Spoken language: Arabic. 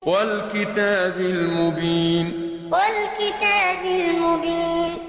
وَالْكِتَابِ الْمُبِينِ وَالْكِتَابِ الْمُبِينِ